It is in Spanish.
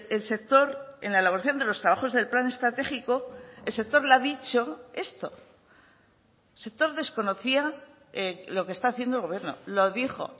el sector en la elaboración de los trabajos del plan estratégico el sector le ha dicho esto el sector desconocía lo que está haciendo el gobierno lo dijo